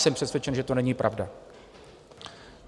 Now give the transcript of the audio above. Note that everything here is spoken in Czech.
Jsem přesvědčen, že to není pravda.